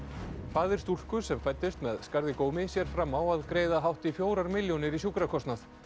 faðir stúlku sem fæddist með skarð í gómi sér fram á að greiða hátt í fjórar milljónir í sjúkrakostnað